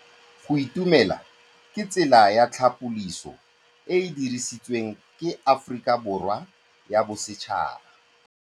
Go itumela ke tsela ya tlhapolisô e e dirisitsweng ke Aforika Borwa ya Bosetšhaba.